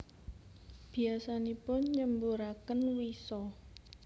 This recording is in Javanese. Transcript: Biyasanipun nyemburaken wisa